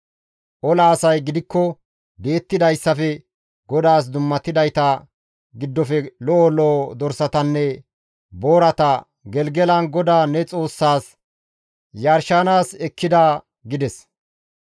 Ola asay gidikko di7ettidayssafe GODAAS dummatidayta giddofe lo7o lo7o dorsatanne boorata Gelgelan GODAA ne Xoossaas yarshanaas ekkida» gides.